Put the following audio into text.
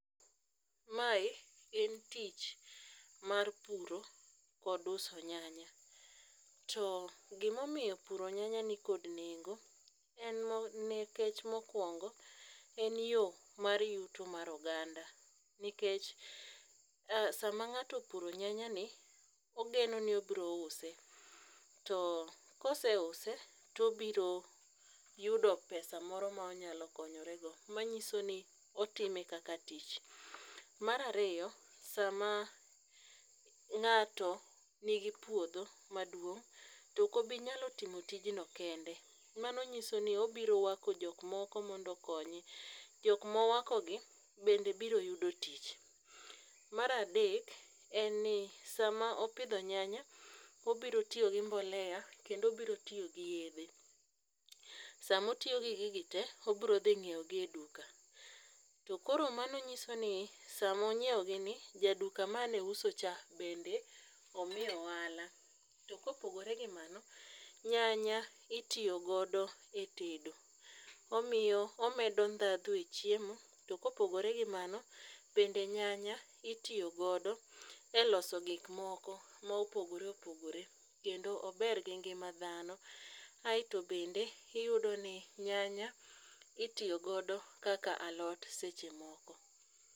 Mae gin tich mar puro kod uso nyanya, to gimomiyo puro nyanya nikod nengo en nikech mokwongo e yo mar yuto mar oganda nikech sama ng'ato opuro nyanyani, ogeno ni obiro use, to koseuse to obiro yudo pesa moro ma onyalo konyorego, manyiso ni otime kaka tich. Mar ariyo, sama ng'ato nigi puodho maduong' to ok obi nyalo timo tijno kende, mano nyisoni obiro wako jok moko mondo okonye. Jok mowakogi bende biro yudo tich. Mar adek en ni sama opidho nyanya, obiro tiyo gi mbolea kendo obiro tiyo gi yedhe, sama otiyo gi gigi te, obiro dhi nyiewogi e duka, to koro mano nyisoni samo nyiewogini jaduka mane uso cha, bende omiyo ohala. To kopogore gi mano, nyanya itiyo godo e tedo, omedo ndhadhu e chiemo, to kopogore gi mano, bende nyanya itiyo godo e loso gik moko mopogore opogore, kendo ober gi ngima dhaon, aeto bende iyudo ni nyanya itiyo godo kaka alot seche moko.